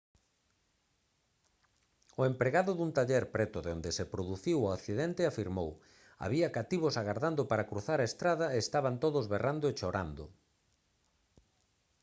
o empregado dun taller preto de onde se produciu o accidente afirmou: «había cativos agardando para cruzar a estrada e estaban todos berrando e chorando»